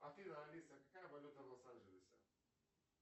афина алиса какая валюта в лос анджелесе